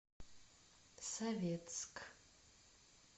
советск